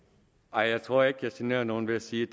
nej jeg tror ikke jeg generer nogen ved at sige